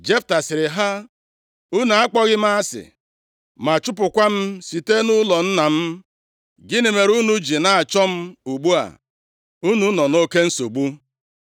Jefta sịrị ha, “Unu akpọghị m asị, + 11:7 \+xt Jen 26:27\+xt* ma chụpụkwa m site nʼụlọ nna m? Gịnị mere unu ji na-achọ m ugbu a unu nọ nʼoke nsogbu?”